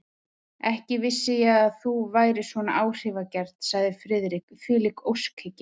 Ekki vissi ég að þú værir svona áhrifagjarn, sagði Friðrik, þvílík óskhyggja!